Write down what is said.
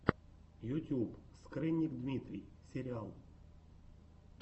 ютюб скрынник дмитрий сериал